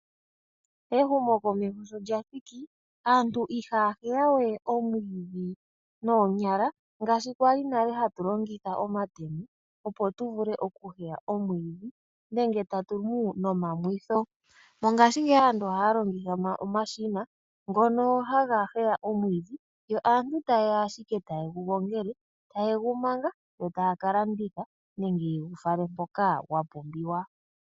Ehumo komeho shilyathiki aantu ihaya huya we oomwiidhi noonyala ngaashi kwali nale hatu longitha omatemo opo tuvule okuhuya omwiidhi nenge tatu mu nomamwitho. Mongashingeyi aantu ohaya longitha omashina ngono haga huya omwiidhi yo aantu tayeya ashike taye gu gongele nokugumanga, yo taya kalanditha nenge yegu fala mpoka gwapumbiwa.